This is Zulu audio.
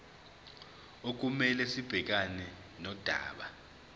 okumele sibhekane nodaba